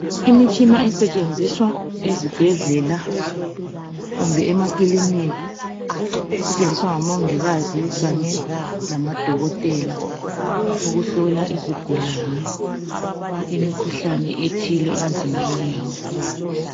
Imitshina esetshenziswa ezibhedlela kumbe emakilinika isetshenziswa ngomongikazi kanye lamadokotela ukuhlola izigulane imikhuhlane ethile emizimbeni yabo.